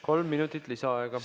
Kolm minutit lisaaega.